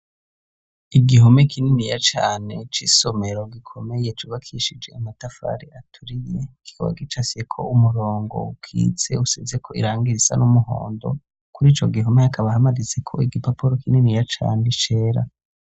Igihome kininiya cane c'isomero gikomeye cubakishije amatafari aturiye kikaba gicafyeko umurongo ukitse, usizeko irangi risa n'umuhondo. Kur'ico gihome hakaba hamanitseko igipapuro kininiya cane cera.